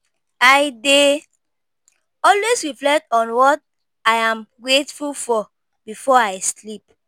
I dey always reflect on what I’m grateful for before I sleep.